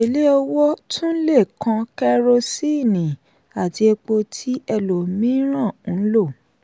èlé owó tun le kan kerosíìnì àti epo tí ẹlòmíràn ń lò.